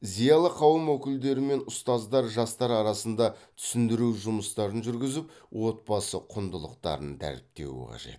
зиялы қауым өкілдері мен ұстаздар жастар арасында түсіндіру жұмыстарын жүргізіп отбасы құндылықтарын дәріптеуі қажет